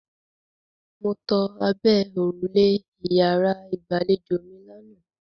Mo to abẹ́ òrùlé ìyàrá-ìgbàlejò mi lánàá.